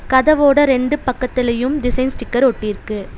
கதவோட ரெண்டு பக்கத்தலையும் design sticker ஒட்டிருக்கு.